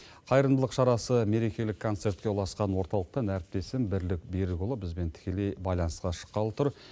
қайырымдылық шарасы мерекелік концертке ұласқан орталықтан әріптесім бірлік берікұлы бізбен тікелей байланысқа шыққалы тұр